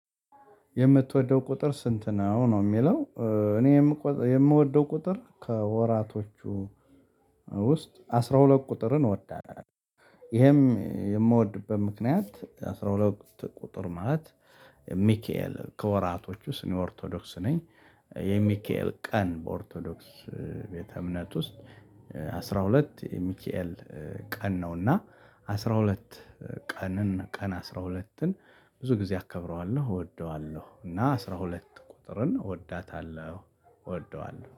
የምትወደው ቁጥር ስንት ነው? ነው የሚለው እኔ የምወደው ቁጥር ከወራቶቹ ውስጥ አስራ ሁለት ቁጥርን እወዳለሁ። ይሄም የምወድበት ምክንያት አስራ ሁለት ቁጥር ማለት። ሚካኤል ከወራቶች ውስጥ እኔ ኦርቶዶክስ ነኝ። የሚካኤል ቀን በኦርቶዶክስ ቤተ እምነት ውስጥ አስራ ሁለት የሚካኤል ቀን ነውና። አስራ ሁለት ቀንን ቀን አስራ ሁለትን ብዙ ጊዜ አከብረዋለሁ እወደዋለሁ እና አስራ ሁለት ቁጥርን እወዳታለሁ እወደዋለሁ